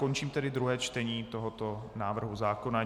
Končím tedy druhé čtení tohoto návrhu zákona.